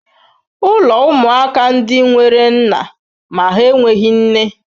Ụlọ ụmụaka ndị nwere nna ma ha enweghị nne.